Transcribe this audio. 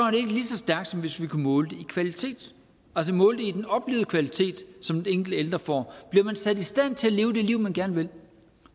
stærkt som hvis vi kunne måle den i kvalitet altså måle den i den oplevede kvalitet som den enkelte ældre får bliver man sat i stand til at leve det liv man gerne vil